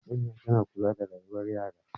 Manya sun kula da rayuwar yara.